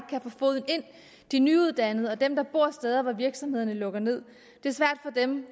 de nyuddannede og dem der bor steder hvor virksomhederne lukker ned